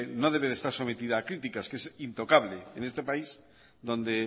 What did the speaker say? no debe estar sometida a criticas que es intocable en este país donde